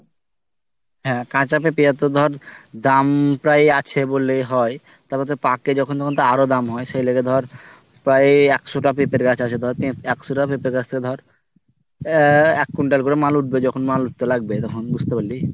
হ্যাঁ কাঁচা পিপিয়া তোর ধর দাম প্রায় আছে বললেই হয়। তার পর পাকে যখন তখন তো আরো দাম হয় সেই লেগে ধর প্রায় একশোটা পেঁপের গাছ আছে ধর পেঁ একশোটা পেঁপে গাছ থেকে ধর এক কুয়ান্টাল করে মাল উঠবে যখন মাল তো লাগবে তখন বুঝতে পারলি।